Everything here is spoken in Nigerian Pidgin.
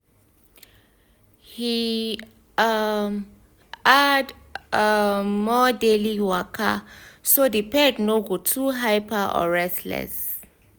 he um add um more daily waka so the pet no go too hyper or restless.